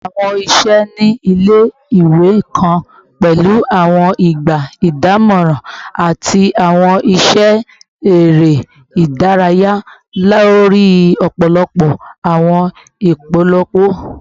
Awọn iṣẹ ni ile-iwe kan pẹlu awọn igba idamọran ati awọn iṣẹ ere idaraya lori ọpọlọpọ awọn ipolowo